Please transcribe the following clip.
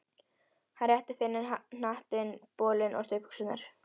Hann rétti Finni hattinn, bolinn og stuttbuxurnar.